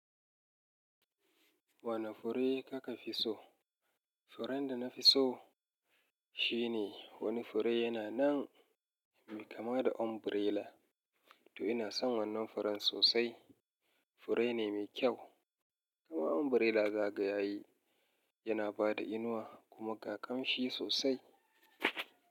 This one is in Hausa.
Wane fure kaka fi so? Furin da na fi so shine wani fure yana nan me kama da umbrella. To ina son wannan furen sosai. Fure ne mai kyau kamar umbrella zakaga yayi yana bada inuwa kuma gakan shi sosai.